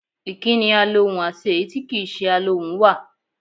Ìkí́ni alohùn àti èyí tí kì í se alohùn wà.